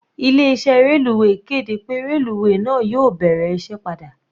Ilé iṣẹ́ reluwe kéde pé reluwe náà yóò bẹ̀rẹ̀ iṣẹ́ padà.